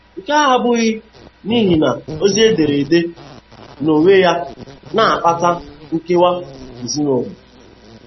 Nke a abụghị n'ihi na ozi ederede n'onwe ya na-akpata nkewa ezinụlọ.